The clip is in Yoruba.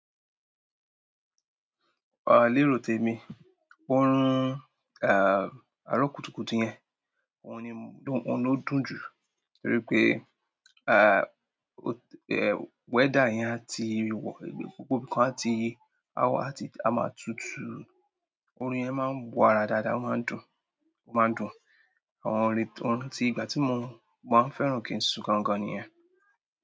À lérò tèmi, ó rún à, àrókútukùtù yén, ó ni mó, ó ni ó dùn jú, torí pé à, o, è weather yén à ti wọ̀, gbogbo nkán a ti awa àti a ma tutù, orun yén ma n wo ara. Dàdà, ó ma n dùn, ó ma n dùn, àwọn òrè, orún ti ìgbà ti mó ma n fẹ́ràn kin sú gan gan ni yèn.